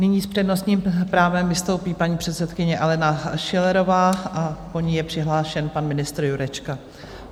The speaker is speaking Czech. Nyní s přednostním právem vystoupí paní předsedkyně Alena Schillerová a po ní je přihlášen pan ministr Jurečka.